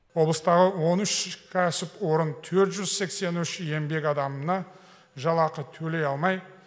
облыстағы он үш кәсіпорын төрт жүз сексен үш еңбек адамына жалақы төлей алмай